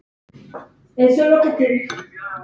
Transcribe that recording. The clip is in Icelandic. Það fauk í mig.